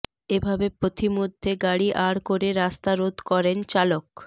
এভাবে পথিমধ্যে গাড়ি আড় করে রাস্তা রোধ করেন চালক